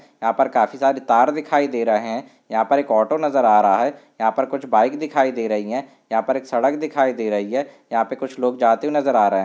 यहां पर काफी सारे तार दिखाई दे रहैं हैं यहां पर एक ऑटो नजर आ रहा हैं यहां पर कुछ बाइक दिखाई दे रही हैं यहां पर एक सड़क दिखाई दे रही हैं यहां पर कुछ लोग जाते हुए नजर आ रहैं हैं।